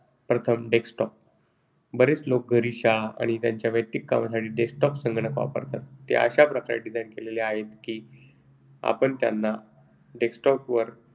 Desktop बरेच लोक घरी, शाळा आणि त्यांच्या वैयक्तिक कामासाठी Desktop संगणक वापरतात. ते अशा प्रकारे design केलेले आहेत की आपण त्यांना आमच्या